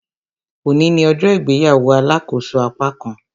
Òní ní ọjọ́ ìgbéyàwó alàkóso apákan